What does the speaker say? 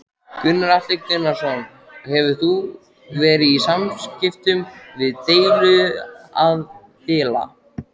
Gunnar Atli Gunnarsson: Hefur þú verið í samskiptum við deiluaðila?